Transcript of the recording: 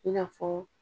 I n'a fɔ